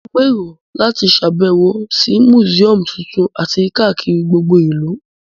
Mo n gbèrò láti sàbẹ̀wò si museum tuntun àti kakiri gbogbo ìlú